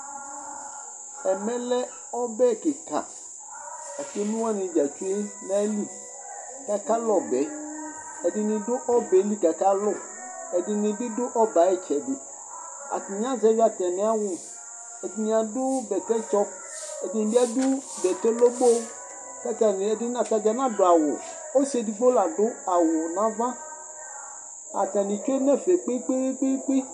Ɛmɛlɛ lɛ ɔbɛ kìka ku emlo wani dza tsʋe nʋ ayìlí kʋ akalu ɔbɛ yɛ Ɛdiní adu ɔbɛli kʋ akalu Ɛdiní bi du ɔbɛ ayʋ itsɛdi Atani azɛvi atami awu Ɛdiní adu bɛtɛ tsɔ Ɛdi bi adu bɛtɛ lobo'o kʋ atani, atadza anadu awu Ɔsi ɛdigbo la adu awu nʋ ava Atani tsʋe nʋ ɛfɛ kpe kpe kpe